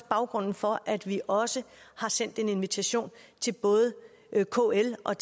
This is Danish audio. baggrunden for at vi også har sendt en invitation til både kl og